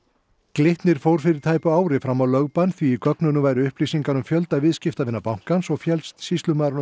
Glitnir fór fyrir tæpu ári fram á lögbann því í gögnunum væru upplýsingar um fjölda viðskiptavina bankans og féllst sýslumaðurinn á